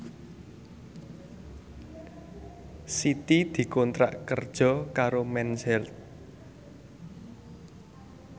Siti dikontrak kerja karo Mens Health